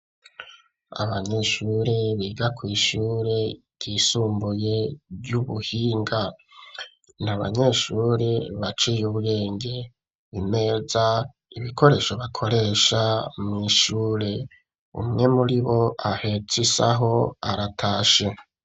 Abanyeshure, biga kw'ishure ryisumbuye, ry'ubuhinga; ni abanyeshure, baciye ubwenge; imeza, ibikoresho bakoresha, mw'ishure; umwe muri bo, ahetse isaho, aratashe.